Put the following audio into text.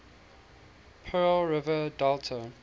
pearl river delta